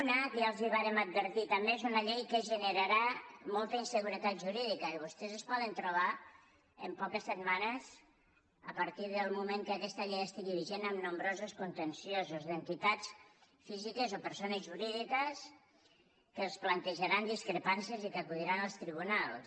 una que ja els ho vàrem advertir també que és una llei que generarà molta inseguretat jurídica i vostès es poden trobar en poques setmanes a partir del moment que aquesta llei estigui vigent amb nombrosos contenciosos d’entitats físiques o persones jurídiques que els plantejaran discrepàncies i que acudiran als tribunals